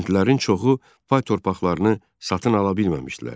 Kəndlilərin çoxu pay torpağını satın ala bilməmişdilər.